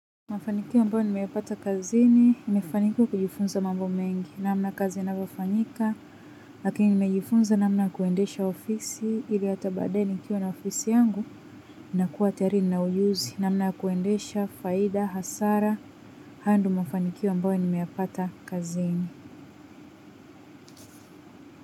Mafanikio ambayo nimeapata kazini, nimefanikiwa kujifunza mambo mengi, namna kazi inavofanyika, lakini nimejifunza namna ya kuendesha ofisi, ilihata baadaye nikiwa na ofisi yangu, nakuwa tayari nina ujuzi, namna kuendesha, faida, hasara, hayo ndo mafanikio ambayo nimeyapata kazini.